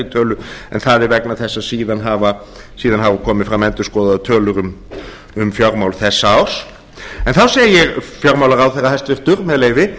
tölu en það er vegna þess að síðan hafa komið fram endurskoðaðar tölur um fjármál þessa árs þar segir fjármálaráðherra hæstvirtur með leyfi